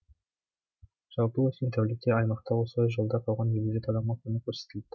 жалпы өткен тәулікте аймақта осылай жолда қалған елу жеті адамға көмек көрсетіліпті